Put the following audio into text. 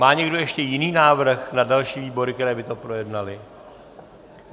Má někdo ještě jiný návrh na další výbory, které by to projednaly?